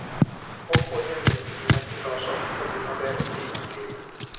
Okonyo e miyo gik ma ji loso odhi maber e piny mangima.